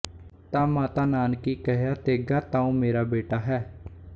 ਤ ਮਾਤਾ ਨਾਨਕੀ ਕਹਿਆ ਤੇਗਾ ਤਉ ਮੇਰਾ ਬੇਟਾ ਹੈ